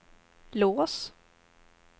lås